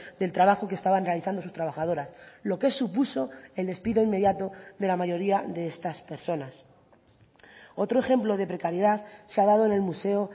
del trabajo que estaban realizando sus trabajadoras lo que supuso el despido inmediato de la mayoría de estas personas otro ejemplo de precariedad se ha dado en el museo